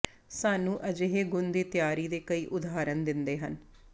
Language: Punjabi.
ਸਾਨੂੰ ਅਜਿਹੇ ਗੁਣ ਦੀ ਤਿਆਰੀ ਦੇ ਕਈ ਉਦਾਹਰਣ ਦਿੰਦੇ ਹਨ